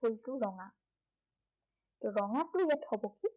ফুলটো ৰঙা। ৰঙা ফুলটো ইয়াত হ'ব কি